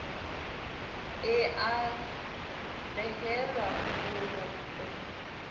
e a behelwa ho o